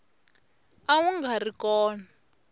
a wu nga ri kona